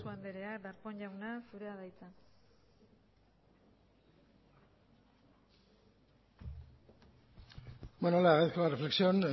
sarasua andrea darpón jauna zurea da hitza bueno le agradezco la reflexión